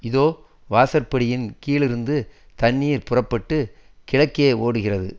இதோ வாசற்படியின் கீழிருந்து தண்ணீர் புறப்பட்டு கிழக்கே ஓடுகிறது